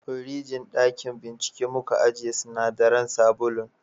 firijin dakin bincike muka ajiye sinadaran sabulun